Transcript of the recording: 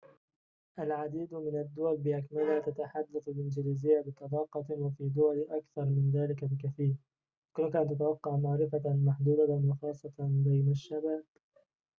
العديد من الدول بأكملها تتحدث الإنكليزية بطلاقةٍ وفي دول أكثر من ذلك بكثيرٍ يمكنك أن تتوقع معرفةً محدودةً وخاصةً بين الشباب